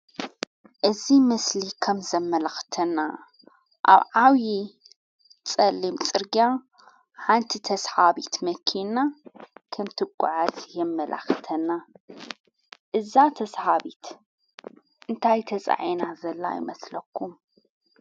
እዝ ምስሊ ኸም ዘመላኽተና ኣብ ዓውዪ ጸልም ጽርጋያ ሓንቲ ተስሓቢት መኪንና ከምቲ ጐዕት የመላኽተና እዛ ተስሃቢት እንታይ ተፃኤና ዘላ ይመስለኩ